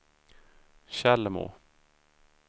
Tjällmo